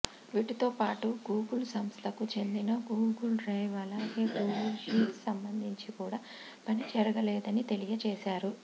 వీటితో పాటు గూగుల్ సంస్థకు చెందిన గూగుల్ డ్రైవ్ అలాగే గూగుల్ షీట్స్ సంబంధించి కూడా పని జరగలేదని తెలియజేశారు